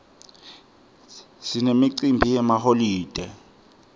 sinemicimbi yemaholide